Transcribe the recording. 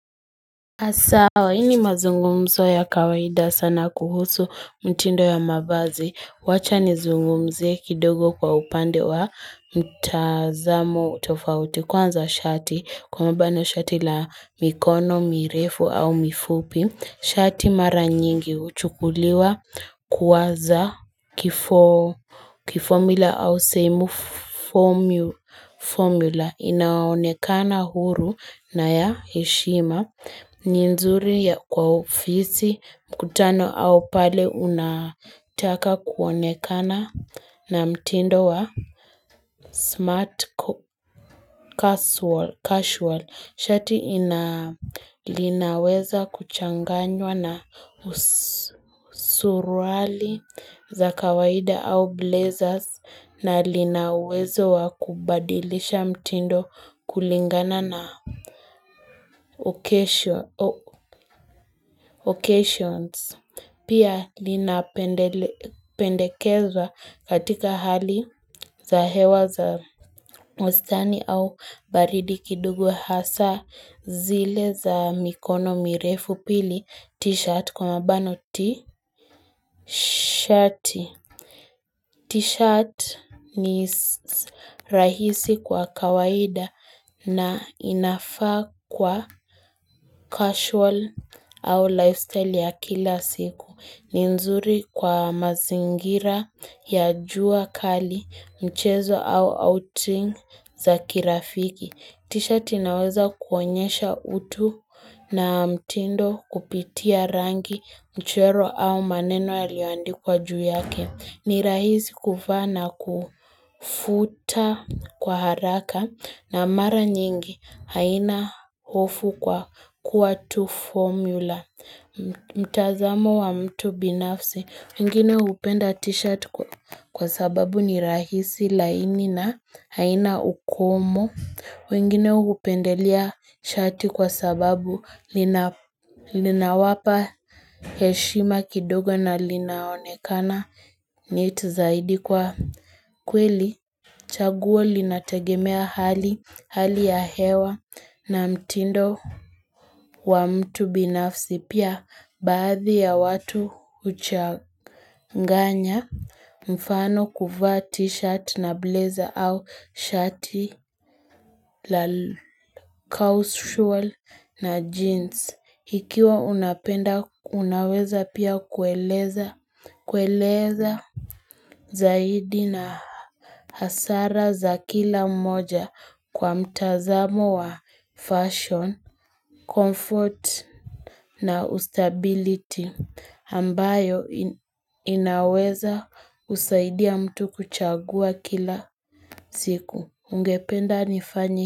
A sawa, hii ni mazungumzo ya kawaida sana kuhusu mtindo ya mavazi. Wacha nizungumze kidogo kwa upande wa mtazamo tofauti kwanza shati kwa mfano shati la mikono mirefu au mifupi. Shati mara nyingi huchukuliwa kuwa za kifo kifomila au sehemu formula inaonekana huru na ya heshima ni nzuri ya kwa ofisi mkutano au pale unataka kuonekana na mtindo wa smart casual. Shati ina linaweza kuchanganywa na usuruali za kawaida au blazers na lina uwezo wa kubadilisha mtindo kulingana na occasions. Pia linapendekeza katika hali za hewa za mustani au baridi kidogo hasaa zile za mikono mirefu. Pili, t-shirt kwa mabano tishati. T-shirt ni rahisi kwa kawaida na inafaa kwa casual au lifestyle ya kila siku. Ni nzuri kwa mazingira, ya jua kali, mchezo au outing za kirafiki. Tishati inaweza kuonyesha utu na mtindo kupitia rangi, mchoro au maneno yaliyoandikwa juu yake. Ni rahisi kuvaa na kufuta kwa haraka na mara nyingi haina hofu kwa kuwa tu formula. Mtazamo wa mtu binafsi. Wengine hupenda t-shirt kwa sababu ni rahisi laini na haina ukomo wengine hupendelea shati kwa sababu linawapa heshima kidogo na linaonekana Neat zaidi kwa kweli chaguo linategemea hali ya hewa na mtindo wa mtu binafsi. Pia, baadhi ya watu huchanganya mfano kuvaa t-shirt na blazer au shati la cusual na jeans. Ikiwa unapenda unaweza pia kueleza zaidi na hasara za kila mmoja kwa mtazamo wa fashion, comfort na ustability. Ambayo inaweza kusaidia mtu kuchagua kila siku ungependa nifanye.